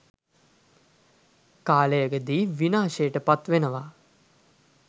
කාලයකදී විනාශයට පත් වෙනවා.